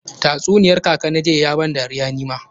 Tatsuniyar kaka na jiya ya ban dariya ni ma.